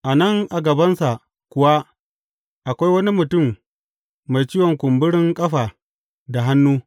A nan a gabansa kuwa akwai wani mutum mai ciwon kumburin ƙafa da hannu.